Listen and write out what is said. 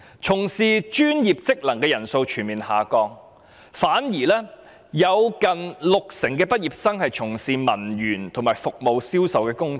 從事專業職能工作的人數全面下降，有近六成畢業生從事文員和服務銷售工作。